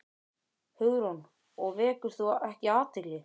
Hugrún: Og vekur þú ekki athygli?